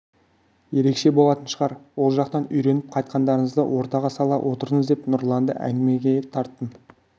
ерекше болатын шығар ол жақтан үйреніп қайтқандарыңызды ортаға сала отырыңыз деп нұрланды әңгімеге тарттым